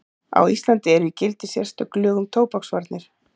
Á Íslandi eru í gildi sérstök lög um tóbaksvarnir.